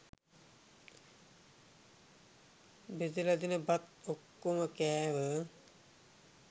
බෙදල දෙන බත් ඔක්කොම කෑව